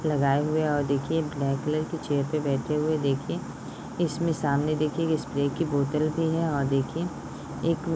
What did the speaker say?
लगाए हुए है और देखिये ब्लैक कलर की चेयर पर बैठे हुए है देखिये इसमें सामने देखिये एक स्प्रे की बोतल भी है और देखिये एक--